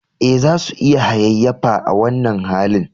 Eh, za su iya hayayyafa a wannan halin